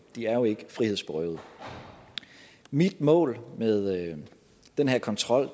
de er jo ikke frihedsberøvet mit mål med den her kontrol